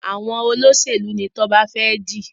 Àwọn Olóṣèlú ní Toba fè di.